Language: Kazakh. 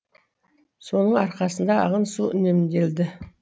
соның арқасында ағын су үнемделді